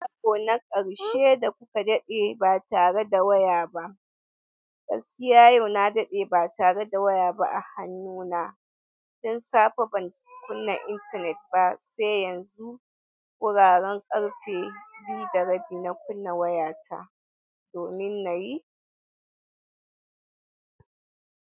Karo na ƙarshe da kuka daɗe ba tare da waya ba. Gaskiya yau na daɗe ba tare da waya ba a hannuna. Don safe ban kunna intanet ba sai yanzu. Wuraren ƙarfe biyu da rabi na kunna wayata, domin na yi.